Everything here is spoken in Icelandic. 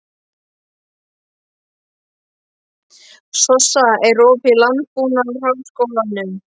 Sossa, er opið í Landbúnaðarháskólanum?